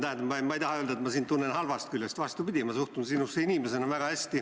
Tähendab, ma ei taha öelda, et ma tunnen sind halvast küljest, vastupidi, ma suhtun sinusse kui inimesesse väga hästi.